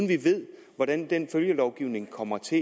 vi ved hvordan følgelovgivningen kommer til